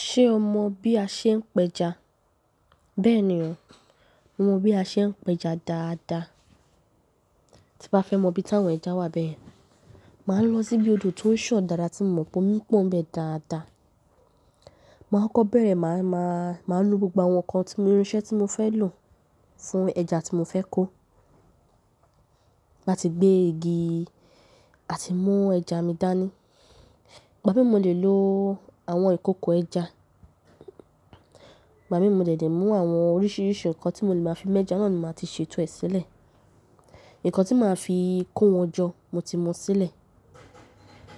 Ṣé o mọ bí a ṣe ń pẹja? Bẹ́ẹ̀ ni o, mo mọ bí a ṣe ń pẹja dáadáa. Tí bá fẹ́ mọ bí táwọn ẹja wà bẹyẹn, màá lọ síbi odò tó ń san dáadáa tí mo mọ̀ pé omi pọ́n n bẹ dáadáa. Màá kọkọ bẹ̀rẹ̀, màá, màá, màá nu gbogbo àwọn ǹkan tí mo ní irinṣẹ́ tí mo fẹ́ lò fún ẹja tí mo fẹ́ kó. Màá ti gbé igi àti mú ẹja mi dání. Ìgbà mii mo lè lo àwọn ìkokò ẹja. Ìgbà mii mo dẹdẹ mú àwọn oríṣìíríṣìí ǹkan tí mo lè máa fi mẹ́ja náà ni màá ti ṣètò ẹ sílẹ̀. Ǹkan tí màá fi kó wọn jọ, mo ti mu sílẹ̀.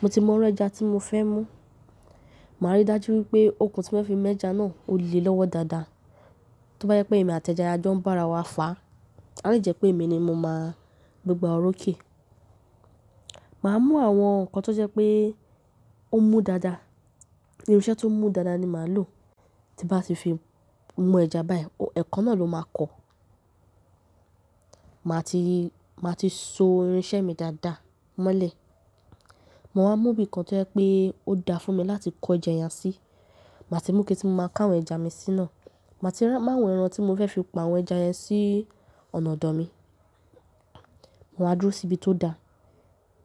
Mo ti mọ irú ẹja tí mo fẹ́ mú. Màá rí dájú wípé okùn tí mo fẹfi mẹ́ja náà ó le lọ́wọ́ dáadáa. Tóbá jẹ pé èmi àti ẹja a jọ ń bá ara wa fà á, à le jẹ́ pé èmi ni mo máa gbogbo oro oké. Màá mú àwọn ǹkan tó jẹ́ pé ó mú dáadáa. Irinṣẹ́ tó mú dáadáa ni màá lò. Tí bá ti fi mú ẹja báyìí, ẹkan náà ló máa kọ. Màá ti, màá ti so irinṣẹ́ mi dáadáa mọ́lẹ̀. Maa wá mú ibìkan tó jẹ́ pé ó da fún mi láti kó ẹja yẹn sí. Màá ti mú ike tí mo máa ká àwọn ẹja mi sí ná. Màá ti mú àwọn ẹran tí mo fẹ́ fi pa àwọn ẹja yẹn sí ọ̀nà ọ̀dọ̀ mi. Máa wa dúró sí ibi tó da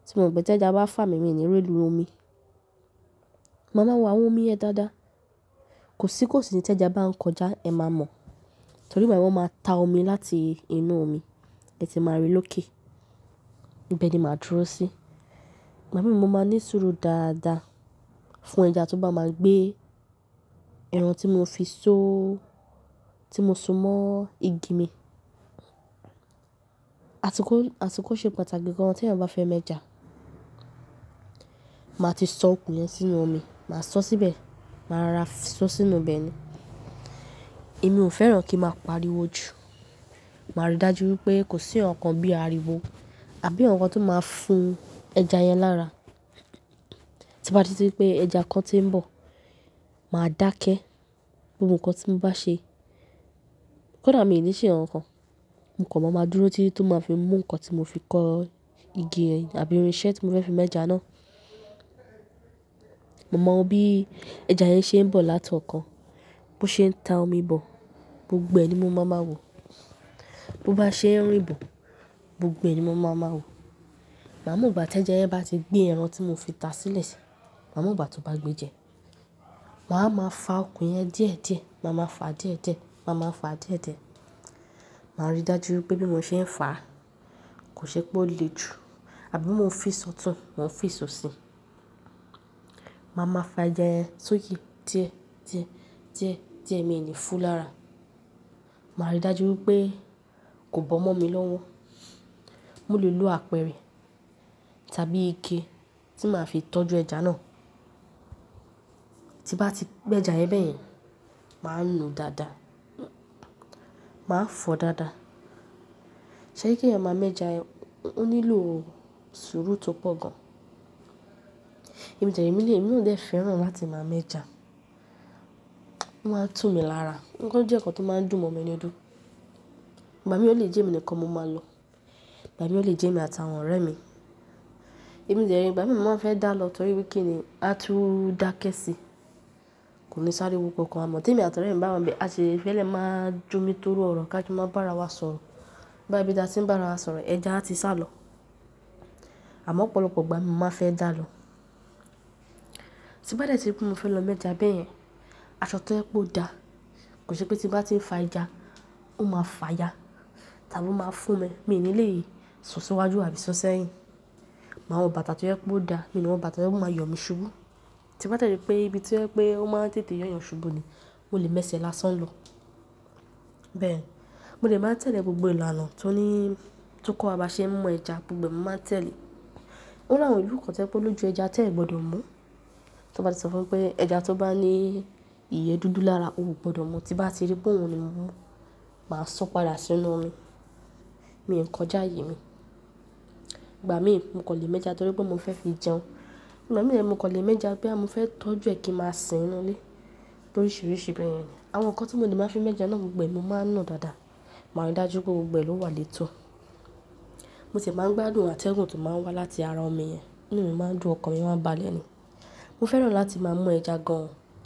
tí mo mọ̀ pé tí ẹja bá fà mí, mi ò ní re lu omi. Màá máa wo àwọn omi ẹ dáadáa. Kò sí kò sí tí ẹja bá ń kọjá, ẹ má mọ̀. Torí ìgbà yẹn, wọ́n máa ta omi láti inú omi, ẹ ti máa rí lóké. Ibẹ̀ ni màá dúró sí. Ìgbà mi mó máa ní sùúrù dáadáa fún ẹja tó bá máa gbé ẹran tí mo fi so, tí mo so mọ́ igi mi. Àsikó, àsikó ṣe pàtàkì gan-an tí eeyan bá fẹ́ mẹ́ja. Màá ti so okùn yẹn sínú omi, màá so síbẹ̀, màá ra so sínú ibẹ̀ ni. Èmi ò fẹ́ràn kí n máa pariwo jù. Màá rí dájú wípé kò sí ǹkankan bí àríwó àbí ǹkan tó máa fúu ẹja yẹn lára. Tí bá rí tí pé ẹja kan ti ń bọ̀, màá dákẹ́. Gbogbo ǹkan tí mo bá ṣe. Kódà mi ò ní ṣe ǹkankan, mo kan maa máa dúró títí tó máa fi mú ǹkan tí mo fi kọ́ igi yẹn àbí irinṣẹ́ tí mo fẹ́ fi mẹ́ja náà. Mo mọ wo bí ẹja yẹn ṣe ń bọ̀ láti ọ̀kan, bó ṣe ń ta omi bọ̀, gbogbo ẹ̀ ni mo máa máa wò. Bo bá ṣe ń rìn bọ̀, gbogbo ẹ̀ ni mo máa máa wò. Màá mọ̀ ìgbà tí ẹja yẹn bá ti gbé ẹran tí mo fi ta sílẹ̀ ṣi. Màá mọ̀ ìgbà tí ó bá gbé jẹ. Màá máa fà okùn yẹn díẹ̀díẹ̀, màá máa fà díẹ̀díẹ̀, màá máa fà díẹ̀díẹ̀. Màá rí dájú wípé bí mo ṣe ń fà kò ṣe pé ó le jù àbí bó mo fi sọtun, mò ń fi sọsí. Màá máa fà ẹja yẹn sókè díẹ̀, díẹ̀, díẹ̀, díẹ̀ mi ò ní fúu lára. Màá rí dájú wípé kò bọ́ mọ́ mi lọ́wọ́. Mo lè lo àpẹrẹ tàbí ike tí màá fi tọ́jú ẹja náà. Tí bá ti gbẹ́ja yẹn bẹ́ẹ̀yẹn, màá nu dáadáa. Màá fọ dáadáa. Toribkí eeyan máa mẹ́ja yẹn, ó nílò sùúrù tó pọ̀ gan. Èmi tẹ̀lé, èmi mi lè, èmi náà dẹ fẹ́ràn láti máa mẹ́ja. Ó máa ń túmi lára. Ǹkan ó jẹ́ ǹkan tó máa ń dùn mọ́ mi nínú. Ìgbà mii ó lè jẹ́ èmi nìkan mo máa lọ. Ìgbà mii ó lè jẹ́ èmi àti àwọn ọ̀rẹ́ mi. Èmi dẹ ré, ìgbà mi mo máa ń fẹ́ dà lọ torí pé kí nì, a tú dáké sí i. Kò ní sáriwo kankan amọ́ tí èmi àti ọ̀rẹ́ mi bá wa n bẹ a sì fẹ le máa jómitoro ọ̀rọ̀ ká jọ máa bá ara wa sọ̀rọ̀. Boyá ibi tí a ti n bá ara wa sọ̀rọ̀, ẹja a ti sálọ. Àmọ́ ọ̀pọ̀lọpọ̀ ìgbà mii mo máa ń fẹ́ dàlọ. Tí n bá dẹ tí ri pé mo fẹ́ lọ mẹ́ja bẹyẹn, aṣọ tó jẹ́ pé ó da. Kò ṣe pé tí n bá ti ń fà ẹja, ó máa fàya tàbí ó máa fún mi, mi ò ní lè sùn síwájú àbí sùn sẹ́yìn. Màá wọ bàtà tó jẹ pé ó da, mi o ni wọ bàtà tó máa yọ̀ mi ṣubú. Tí bá ri m pé ibi to jẹ pé ó máa n tètè yọ̀yàn ṣubú ni, mó lè mẹ́ṣẹ̀ẹ́ lásán lọ. Bẹ́ẹ̀ni, mo dẹ máa tẹ̀lé gbogbo ìlànà tó ní, tó kọ́ wa bá ṣe ń mú ẹja gbogbo ẹ́ ni máa n tẹ̀lé. Ó láwọn ìlú kan tó jẹ́ pé ó lójú ẹja tẹ́ ẹ gbọdọ̀ mú. Tí ó bá ti sọ fún ẹ pé ẹja tó bá ní iyẹ dúdú lára, o ò gbọdọ̀ mú. Tí bá ti rí pé òun ni mo mú, màá sọ́ padà sínú omi. Mi ò ń kọjá ààyè mi. Ìgbà mii mo kan lè mẹ́ja torí pé mo fẹ́ fi jẹun. Ìgbà mii mo kan lè mẹ́ja boya mofẹ́ tọ́jú ẹ kí ń máa sin nínú ilé. Loríṣìíríṣìí bẹ́ẹ̀yẹn ni. Àwọn ǹkan tí mo ní máa fi mẹ́ja náà gbogbo ẹ́ ni mo máa ń nun dáadáa. Màá rí dájú pé gbogbo ẹ́ ló wà leeto. Mo sì máa ń gbádùn àtẹ̀gùn tó máa ń wá láti ara ọmi yẹn. Inú mi máa ń dùn ọkàn mi máa ń ba lẹ́nu. Mo fẹ́ràn láti máa mú ẹja gan-an.